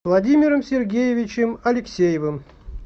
владимиром сергеевичем алексеевым